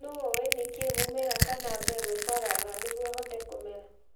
nũ ũĩ nĩkĩĩ mũmera kana mbegũ ĩbaraga nĩguo ũhote kũmera